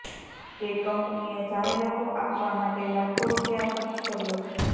કે કંપનીએ જાહેરાતો આપવા માટે લાખો રૂપિયા ખર્ચ કર્યો છે